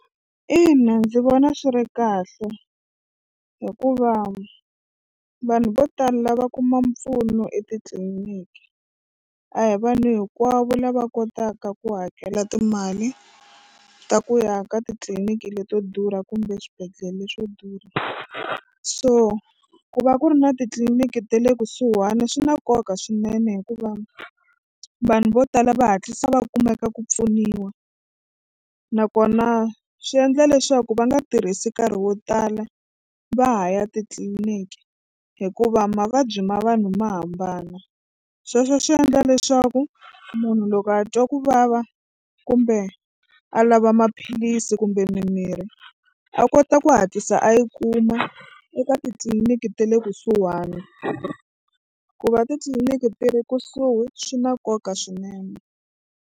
Ina ndzi vona swi ri kahle hikuva vanhu vo tala lava kuma mpfuno etitliniki a hi vanhu hinkwavo lava kotaka ku hakela timali ta ku ya ka titliliniki leto durha kumbe swibedhlele leswo durha so ku va ku ri na titliliniki ta le kusuhani swi na nkoka swinene hikuva vanhu vo tala va hatlisa va kumeka ku pfuniwa nakona swi endla leswaku va nga tirhisi nkarhi wo tala va ha ya titliniki hikuva mavabyi ma vanhu ma hambana sweswo swi endla leswaku munhu loko a twa ku vava kumbe a lava maphilisi kumbe mimirhi a kota ku hatlisa a yi kuma eka titliliniki ta le kusuhani ku va titliliniki ti ri kusuhi swi na nkoka swinene.